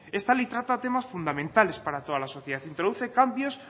esta ley trata temas fundamentales para toda la sociedad introduce cambios